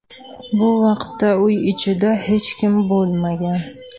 Bu vaqtda uy ichida hech kim bo‘lmagan.